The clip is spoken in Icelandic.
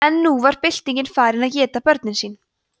en nú var byltingin farin að éta börnin sín